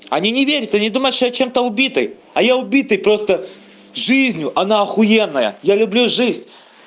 они не верят они думают что я чем-то убитый а я убитый просто жизнью она охуенная я люблю жизнь